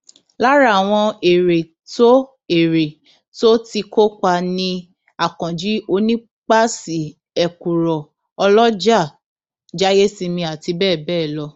lára àwọn ère tó ère tó ti kópa ni akànji onípasí ẹkúrò ọlọjà jáìyèsìnmi àti bẹẹ bẹẹ lọ